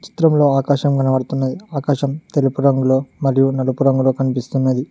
చిత్రంలో ఆకాశం కనబడుతున్నది ఆకాశం తెలుపు రంగులో మరియు నలుపు రంగులో కనిపిస్తున్నది.